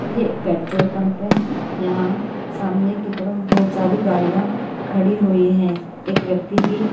ये एक petrol pump है यहाँ सामने की तरफ बहुत सारी गाड़ियां खड़ी हुई हैं एक व्यक्ति भी--